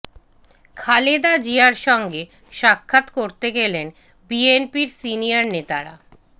খালেদা জিয়ার সঙ্গে সাক্ষাৎ করতে গেলেন বিএনপির সিনিয়র নেতারা